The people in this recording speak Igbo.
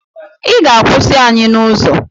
Ị ga-akwụsị anyị n’ụzọ